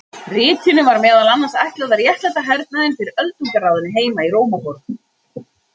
ritinu var meðal annars ætlað að réttlæta hernaðinn fyrir öldungaráðinu heima í rómaborg